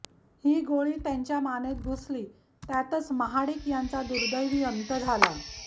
ही गोळी त्यांच्या मानेत घुसली त्यातच महाडिक यांचा दुर्देवी अंत झाला